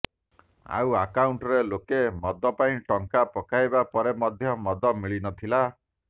ଆଉ ଆକାଉଣ୍ଟରେ ଲୋକେ ମଦ ପାଇଁ ଟଙ୍କା ପକାଇବା ପରେ ମଧ୍ୟ ମଦ ମିଳି ନଥିଲା